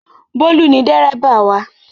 Bólú ni dẹ́ríbà wa